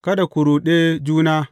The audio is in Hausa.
Kada ku ruɗe juna.